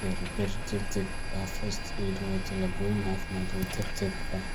Gargaarka degdega ah first aid waa tallaabooyin caafimaad oo degdeg ah